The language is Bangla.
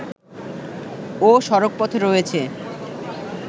ও সড়কপথে রয়েছে